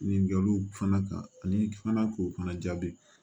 Ɲininkaliw fana ka ani fana k'u fana jaabi